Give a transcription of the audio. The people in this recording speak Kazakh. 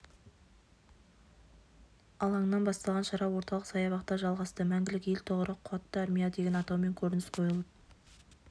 алаңынан басталған шара орталық саябақта жалғасты мәңгілік ел тұғыры қуатты армия деген атаумен көрініс қойылып